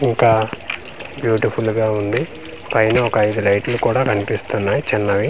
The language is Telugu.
ఇంకా బ్యూటిఫుల్ గా ఉంది పైన ఒక ఐదు లైట్ లు కూడా కన్పిస్తున్నాయ్ చిన్నవి.